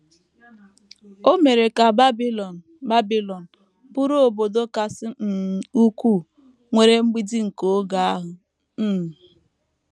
O mere ka Babilọn Babilọn bụrụ obodo kasị um ukwuu nwere mgbidi nke oge ahụ. um